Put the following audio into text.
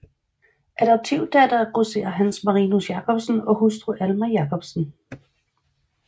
Adoptivdatter af grosserer Hans Marinus Jacobsen og hustru Alma Jacobsen